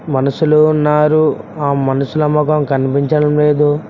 మనుషులు ఉన్నారు ఆ మనుషుల ముఖం కనిపించడం లేదు.